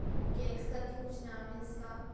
उ केक्स करके कुछ नाम है इसका।